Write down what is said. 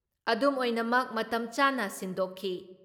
ꯑꯗꯨꯝꯑꯣꯏꯅꯃꯛ, ꯃꯇꯝ ꯆꯥꯅ ꯁꯤꯟꯗꯣꯛꯈꯤ ꯫